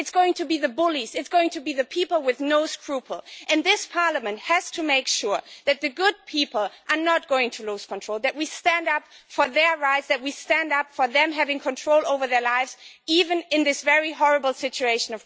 It is going to be the bullies, it is going to be the people with no scruples. This Parliament has to make sure that the good people are not going to lose control, that we stand up for their rights, that we stand up for them having control over their lives, even in this very horrible situation.